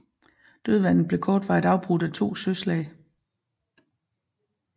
Dødvandet blev kortvarigt afbrudt af to søslag